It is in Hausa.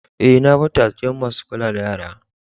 Eh, na bar ta a gidan masun kulla da yara.